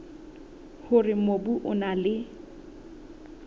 hore mobu o na le